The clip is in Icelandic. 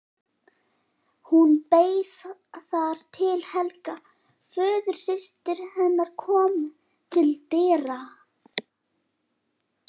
Hún beið þar til Helga, föðursystir hennar, kom til dyra.